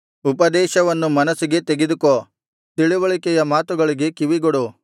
ಉಪದೇಶವನ್ನು ಮನಸ್ಸಿಗೆ ತೆಗೆದುಕೋ ತಿಳಿವಳಿಕೆಯ ಮಾತುಗಳಿಗೆ ಕಿವಿಗೊಡು